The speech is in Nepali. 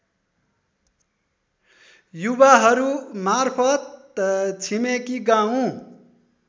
युवाहरूमार्फत् छिमेकी गाउँ